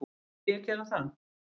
Myndi ég gera það?